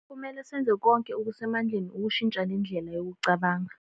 Kumele senze konke okusemandleni ukushintsha le ndlela yokucabanga.